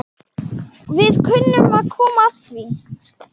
Við munum komast að því.